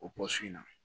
O pɔsɔn in na